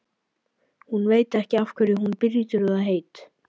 Hún veit ekki af hverju hún brýtur það heit.